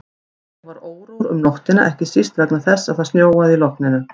Ég var órór um nóttina, ekki síst vegna þess að það snjóaði í logninu.